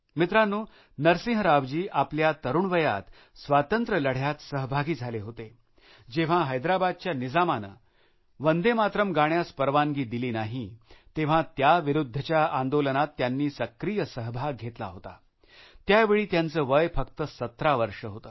मित्रांनो नरसिंह राव जी आपल्या तरुण वयात स्वातंत्र्यलढ्यात सहभागी झाले होते जेव्हा हैदराबादच्या निजामाने वंदे मातरम् गाण्यास परवानगी दिली नाही तेव्हा त्याविरुध्च्या आंदोलनात त्यांनी सक्रीय सहभाग घेतला होता त्यावेळी त्यांचे वय फक्त १७ वर्षे होते